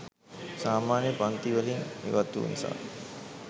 සාමාන්‍ය පන්ති වලින් ඉවත්වූ නිසා